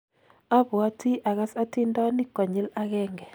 apwoti agas atindonik konyil akenge